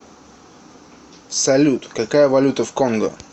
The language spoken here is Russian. салют какая валюта в конго